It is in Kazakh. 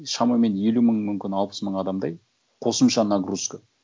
шамамен елу мың мүмкін алпыс мың адамдай қосымша нагрузка